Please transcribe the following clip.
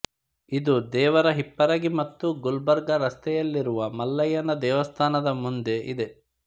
ಇದು ದೇವರ ಹಿಪ್ಪರಗಿ ಮತ್ತು ಗುಲ್ಬರ್ಗ ರಸ್ತೆಯಲ್ಲಿರುವ ಮಲ್ಲಯ್ಯನ ದೇವಸ್ಥಾನದ ಮುಂದೆ ಇದೆ